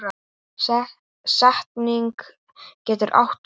Setning getur átt við